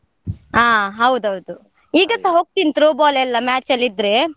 ಹಾ ಹೌದೌದು, ಈಗಸಾ ಹೋಗ್ತೀನಿ Throw ball ಎಲ್ಲ match ಎಲ್ಲ ಇದ್ರೆ.